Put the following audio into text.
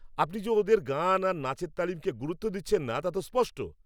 আপনি যে ওদের গান আর নাচের তালিমকে গুরুত্ব দিচ্ছেন না, তা তো স্পষ্ট!